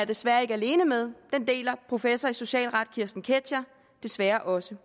desværre ikke alene med den deler professor i socialret kirsten ketscher desværre også